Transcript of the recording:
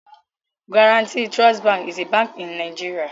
Guaranty Trust Bank is a bank in NIgeria